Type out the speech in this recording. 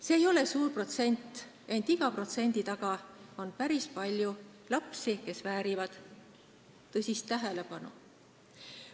See ei ole suur protsent, ent iga protsendi taga on päris palju lapsi, kes väärivad tõsist tähelepanu.